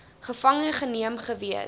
gevange geneem gewees